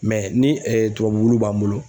Mɛ ni tubabu b'an bolo